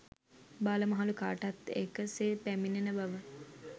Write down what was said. බාල මහලු කාටත් එක සේ පැමිණෙන බව